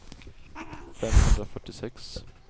femhundrafyrtiosex